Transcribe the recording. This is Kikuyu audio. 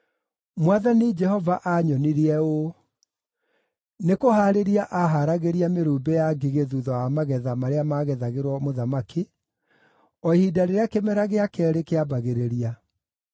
Mwathani Jehova aanyonirie ũũ: Nĩkũhaarĩria aharagĩria mĩrumbĩ ya ngigĩ thuutha wa magetha marĩa maagethagĩrwo mũthamaki, o ihinda rĩrĩa kĩmera gĩa keerĩ kĩambagĩrĩria.